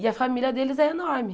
E a família deles é enorme.